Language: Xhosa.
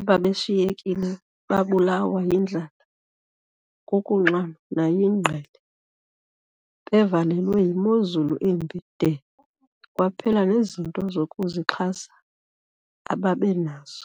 ababeshiyekile babulawa yindlala, kukunxanwa, nayingqele. - bevalelwe yimozulu embi de kwaphela nezinto zokuzixhasa ababenazo.